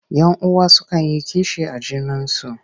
Yan uwa sukan yi kishi a junansu.